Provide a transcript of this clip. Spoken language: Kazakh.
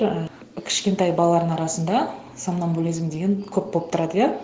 і кішкентай балалардың арасында сомнамбулизм деген көп болып тұрады иә